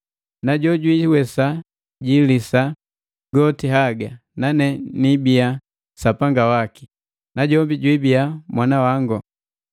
Na jojwiiwesa jilisa goti haga, nanee niibia Sapanga waki, najombi jwibia mwana wango.